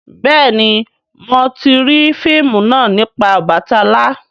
béèni mọ ti rii fíìmù náa nipa Obàtálá.